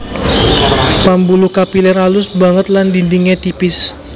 Pambuluh kapilèr alus banget lan dindingé tipis